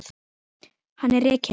Hann er rekinn.